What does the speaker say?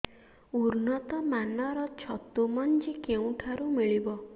ଉନ୍ନତ ମାନର ଛତୁ ମଞ୍ଜି କେଉଁ ଠାରୁ ମିଳିବ